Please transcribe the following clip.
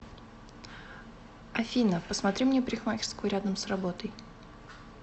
афина посмотри мне парикмахерскую рядом с работой